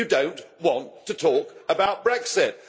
You do not want to talk about Brexit.